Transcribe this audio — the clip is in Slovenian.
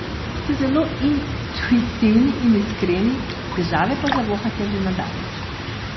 Ste zelo intuitivni in iskreni, težave pa zavohate že na daleč.